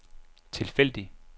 tilfældig